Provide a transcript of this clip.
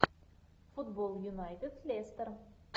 футбол юнайтед лестер